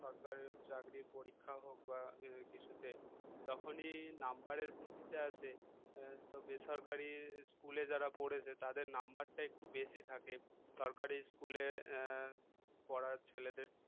সরকারের চাকরির পরীক্ষা হোক বা কিছুতে যখনই number এর ভিত্তিতে আসে তো বেসরকারি school এ যারা পড়েছে তাদের number টা একটু বেশি থাকে সরকারি school এ পড়ার ছেলেদের